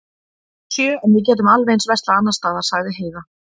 Sjö, en við getum alveg eins verslað annars staðar, sagði Heiða.